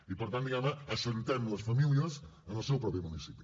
i per tant diguem ne assentem les famílies en el seu propi municipi